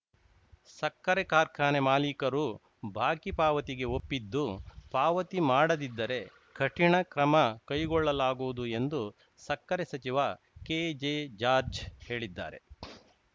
ಸಕ್ಕರೆ ಕಾರ್ಖಾನೆ ಮಾಲೀಕರು ಬಾಕಿ ಪಾವತಿಗೆ ಒಪ್ಪಿದ್ದು ಪಾವತಿ ಮಾಡದಿದ್ದರೆ ಕಠಿಣ ಕ್ರಮ ಕೈಗೊಳ್ಳಲಾಗುವುದು ಎಂದು ಸಕ್ಕರೆ ಸಚಿವ ಕೆಜೆ ಜಾರ್ಜ್ ಹೇಳಿದ್ದಾರೆ